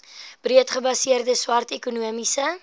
breedgebaseerde swart ekonomiese